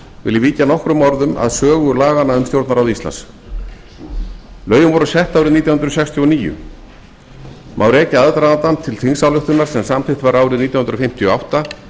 vil ég víkja nokkrum orðum að sögu laganna um stjórnarráð íslands lögin voru sett árið nítján hundruð sextíu og níu má rekja aðdragandann til þingsályktunar sem samþykkt var árið nítján hundruð fimmtíu og átta